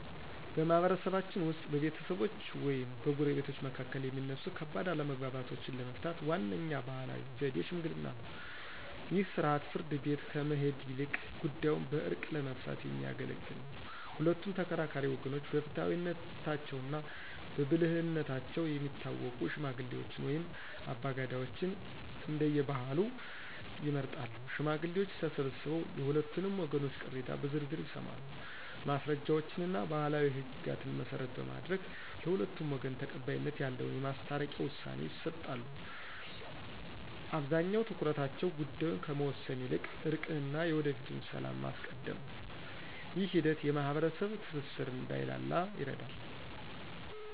በማኅበረሰባችን ውስጥ በቤተሰቦች ወይም በጎረቤቶች መካከል የሚነሱ ከባድ አለመግባባቶችን ለመፍታት ዋነኛው ባሕላዊ ዘዴ ሽምግልና ነው። ይህ ሥርዓት ፍርድ ቤት ከመሄድ ይልቅ ጉዳዩን በዕርቅ ለመፍታት የሚያገለግል ነው። ሁለቱም ተከራካሪ ወገኖች በፍትሐዊነታቸውና በብልህነታቸው የሚታወቁ ሽማግሌዎችን ወይም አባገዳዎችን (እንደየባህሉ) ይመርጣሉ። ሽማግሌዎቹ ተሰብስበው የሁለቱንም ወገኖች ቅሬታ በዝርዝር ይሰማሉ። ማስረጃዎችንና ባሕላዊ ሕግጋትን መሠረት በማድረግ፣ ለሁለቱም ወገን ተቀባይነት ያለውን የማስታረቂያ ውሳኔ ይሰጣሉ። አብዛኛው ትኩረታቸው ጉዳዩን ከመወሰን ይልቅ እርቅንና የወደፊቱን ሰላም ማስቀደም ነው። ይህ ሂደት የማኅበረሰብ ትስስር እንዳይላላ ይረዳል።